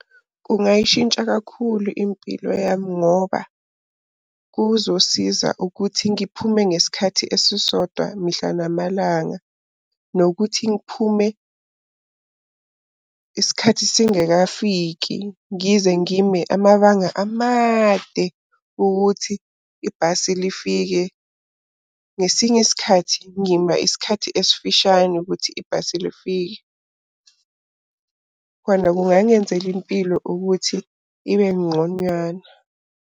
Kungayishintsha kakhulu impilo yami ngoba kuzosiza ukuthi ngiphume ngesikhathi esisodwa mihla namalanga. Nokuthi ngiphume isikhathi singekafiki. Ngize ngime amabanga amade ukuthi ibhasi lifike, ngesinye sikhathi ngima isikhathi esifishane ukuthi ibhasi lifike. Khona kungangenzela impilo ukuthi ibe nqonywana.